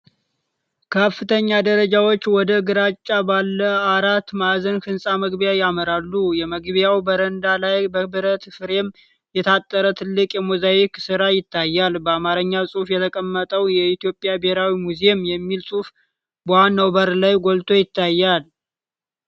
ከፍተኛ ደረጃዎች ወደ ግራጫ ባለ አራት ማዕዘን ሕንፃ መግቢያ ያመራሉ። የመግቢያው በረንዳ ላይ፣ በብረት ፍሬም የታጠረ ትልቅ የሞዛይክ ሥራ ይታያል። በአማርኛ ጽሑፍ የተቀመጠው "የኢትዮጵያ ብሔራዊ ሙዚየም" የሚል ጽሑፍ በዋናው በር ላይ ጎልቶ ይታያል።